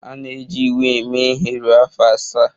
A na-eji iwu a eme ihe ruo afọ asaa.